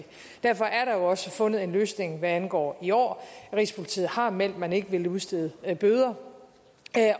derfor er der jo også fundet en løsning hvad angår i år rigspolitiet har meldt at man ikke vil udstede bøder